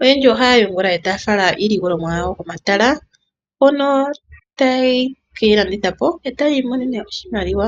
oyendji ohaya yungula etaya fala iilikolomwa yayo komatala hono hayeyi landitha po opo yi imonene oshimaliwa.